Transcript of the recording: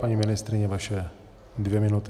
Paní ministryně, vaše dvě minuty.